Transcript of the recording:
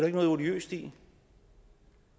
ikke noget odiøst i